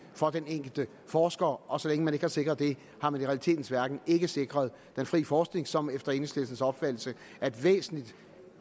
for den enkelte forsker og så længe man ikke har sikret det har man i realitetens verden ikke sikret den frie forskning som efter enhedslistens opfattelse er et væsentligt